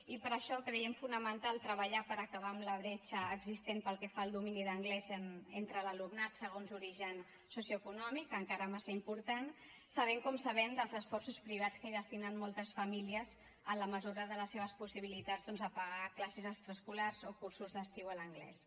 i per això creiem fonamental treballar per acabar amb la bretxa existent pel que fa al domini d’anglès entre l’alumnat segons origen socioeconòmic encara massa important sabent com sabem dels esforços privats que destinen moltes famílies en la mesura de les seves possibilitats doncs a pagar classes extraescolars o cursos d’estiu en anglès